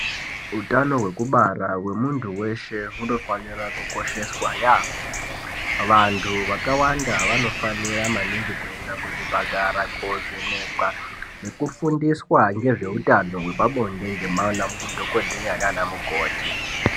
Utano hwekubara hemuntu veshe hunofanira kukosheswa yaamho. Vantu vakawanda vanofanira kuenda maningi kuzvipatara kuvhenekwa nekufundiswa ngezveutano hwepabonde ngema dhogodheya nana mukoti.